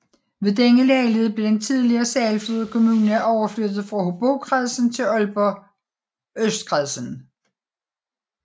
Ved denne lejlighed blev den tidligere Sejlflod Kommune overflyttet fra Hobrokredsen til Aalborg Østkredsen